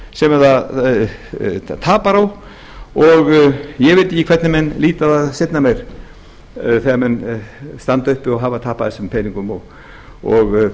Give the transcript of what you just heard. sem það tapar á og ég veit ekki hvernig menn líta á það seinna meir þegar þeir samþykktu og hafa tapað þessum peningum og